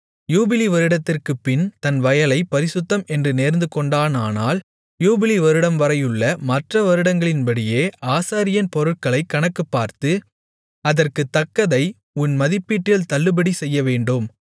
யூபிலி வருடத்திற்குப்பின் தன் வயலைப் பரிசுத்தம் என்று நேர்ந்துகொண்டானானால் யூபிலி வருடம்வரையுள்ள மற்ற வருடங்களின்படியே ஆசாரியன் பொருட்களைக் கணக்குப்பார்த்து அதற்குத் தக்கதை உன் மதிப்பீட்டில் தள்ளுபடி செய்யவேண்டும்